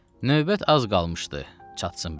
Növbət az qalmışdı çatsın bizə.